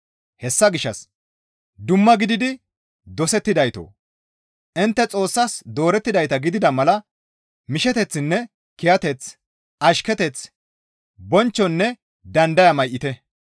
Hessa gishshas dumma gididi dosettidaytoo! Intte Xoossas doorettidayta gidida mala misheteththinne kiyateth, ashketeth, bonchchonne dandaya may7ite.